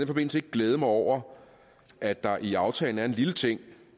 forbindelse ikke glæde mig over at der i aftalen er en lille ting